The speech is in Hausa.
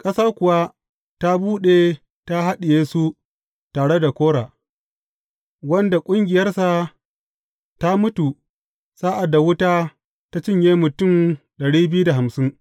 Ƙasa kuwa ta buɗe ta haɗiye su tare da Kora, wanda ƙungiyarsa ta mutu sa’ad da wuta ta cinye mutum dari biyu da hamsin.